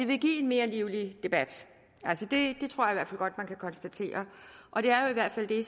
vil give en mere livlig debat det tror jeg godt man kan konstatere og det er jo i hvert fald det